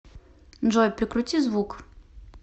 джой прикрути звук